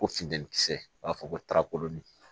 Ko funtɛni kisɛ u b'a fɔ ko tarakoloni